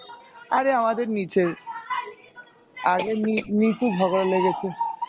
আরে আমাদের নীচের, আরে নি~ নীচে ঝগড়া লেগেছে